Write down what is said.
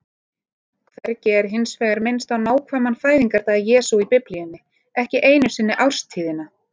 Hvergi er hins vegar minnst á nákvæman fæðingardag Jesú í Biblíunni, ekki einu sinni árstíðina.